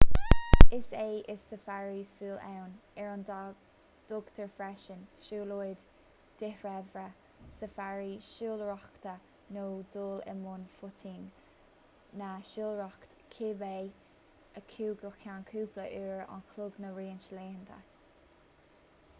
is é is safari siúil ann ar a dtugtar freisin siúlóid dhíthreibhe safari siúlóireachta nó dul i mbun footing ná siúlóireacht cibé acu go ceann cúpla uair an chloig nó roinnt laethanta